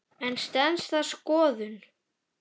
En stenst það skoðun?